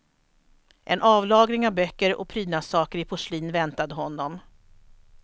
En avlagring av böcker och prydnadssaker i porslin väntade honom.